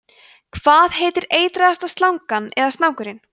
hvað heitir eitraðasta slangan eða snákurinn